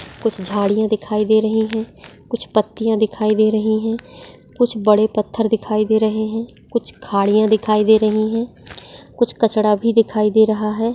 कुछ झाड़ीया दिखाई दे रही है कुछ पत्ते दिखाई दे रही है कुछ बड़े पत्थर दिखाई दे रहे है कुछ खारीया दिखाई दे रही है कुछ कचरा भी दिखाई दे रहा है।